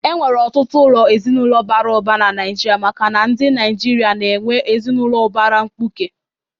E nwere ọtụtụ ụlọ ezinụlọ bara ụba na Naịjirịa makana ndị Naịjirịa na-enwe ezinụlọ ubara mkpuke.